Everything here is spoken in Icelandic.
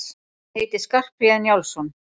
Ég heiti Skarphéðinn Njálsson!